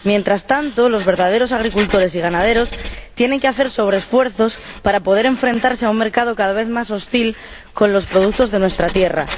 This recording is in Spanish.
Mientras tanto, los verdaderos agricultores y ganaderos tienen que hacer sobreesfuerzos para poder enfrentarse a un mercado cada vez más hostil con los productos de nuestra tierra.